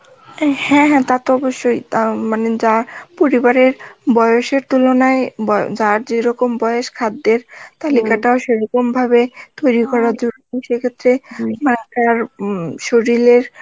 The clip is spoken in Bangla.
হ্যাঁ হ্যাঁ তা তো অবশ্যই তা মানে যা পরিবারের বয়সের তুলনায় বয়~ যার যেরকম বয়স খাদ্যের তা সেরকমভাবে তৈরি করা সে ক্ষেত্রে উম শরির এর